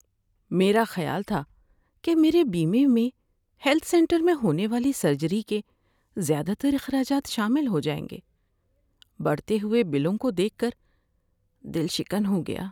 میرا خیال تھا کہ میرے بیمے میں ہیلتھ سینٹر میں ہونے والی سرجری کے زیادہ تر اخراجات شامل ہو جائیں گے۔ بڑھتے ہوئے بلوں کو دیکھ کر دل شکن ہو گیا۔